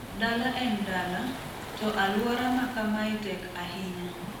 Dala en dala, to alwora ma kama e tek ahinya.